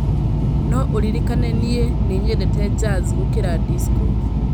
no ũririkane nĩĩ nĩnyendete jaz gũkĩra dicso